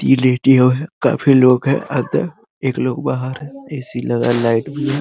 है काफी लोग है अंदर एक लोग बाहर है ए.सी. लगा लाइट भी है।